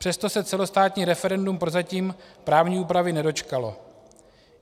Přesto se celostátní referendum prozatím právní úpravy nedočkalo.